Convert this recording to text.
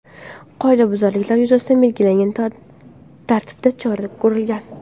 Qoidabuzarliklar yuzasidan belgilangan tartibda chora ko‘rilgan.